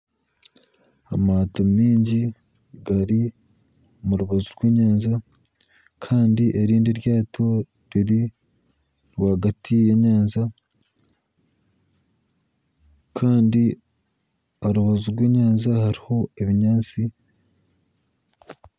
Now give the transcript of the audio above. Amato mingi gari omu rubaju rw'enyanja kandi erindi eryato riri rwagati y'enyanja kandi aha rubaju rw'enyanja hariho ebinyaatsi .